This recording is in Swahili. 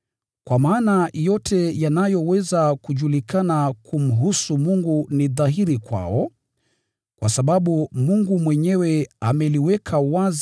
kwa maana yote yanayoweza kujulikana kumhusu Mungu ni dhahiri kwao, kwa sababu Mungu mwenyewe ameyadhihirisha kwao.